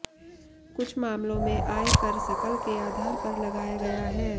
कुछ मामलों में आय कर सकल के आधार पर लगाया गया है